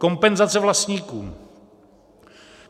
Kompenzace vlastníkům.